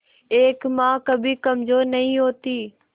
एक मां कभी कमजोर नहीं होती